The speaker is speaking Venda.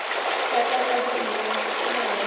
sa takadzi nṋe na havha